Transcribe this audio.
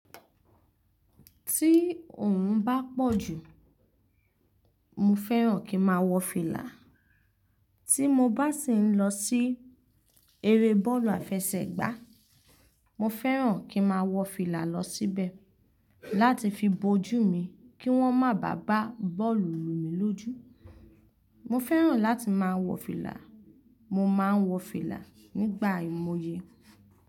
Tí òòrùn bá pọ̀ jù, mo fẹ́ràn kí n máa wọ fìlà. Tí mo bá sì ń lọ sí eré bọ́ọ̀lù àfẹsẹ̀gbá, mo fẹ́ràn kí n máa wọ fìlà lọ síbẹ̀ láti fi bojú mi kí wọ́n má bá gbá bọ́ọ̀lù lu mi lójú. Mo fẹ́ràn láti máa wọ fìlà. Mo máa ń wọ fìlà nígbà àìmọye.